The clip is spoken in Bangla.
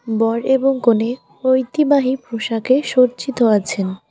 বর এবং কনে ঐতিবাহী পোশাকে সজ্জিত আছেন।